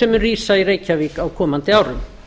sem mun rísa í reykjavík á komandi árum